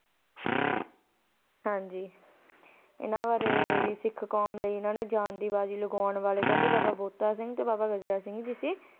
ਹਾਂਜੀ ਇਨਾਂ ਬਾਰੇ ਵੀ ਸਿੱਖ ਕੌਮ ਲਈ ਇਨਾ ਨੇ ਜਾਨ ਦੀ ਬਾਜ਼ੀ ਲਗਵਾਉਣ ਵਾਲੇ ਕਹਿੰਦੇ ਬਾਬਾ ਬੋਤਾ ਸਿੰਘ ਜੀ ਤੇ ਬਾਬਾ ਗਜਰਾ ਸਿੰਘ ਜ਼ੀ ਸੀ.